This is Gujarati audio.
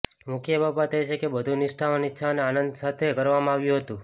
મુખ્ય બાબત એ છે કે બધું નિષ્ઠાવાન ઇચ્છા અને આનંદ સાથે કરવામાં આવ્યું હતું